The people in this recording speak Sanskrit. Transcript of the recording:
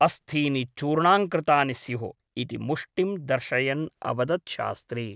अस्थीनि चूर्णांकृतानि स्युः इति मुष्टिं दर्शयन् अवदत् शास्त्री ।